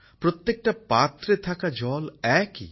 প্রত্যেকটা পাত্রে থাকা জল একই